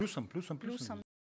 плюсом плюсом плюсом